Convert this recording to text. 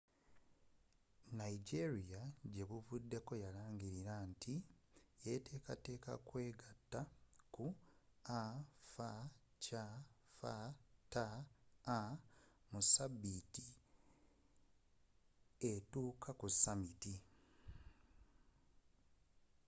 nigeria gye buvuddeko yalangirira nti yatekateka okwegatta ku afcfta mu sabiiti etuuka ku summit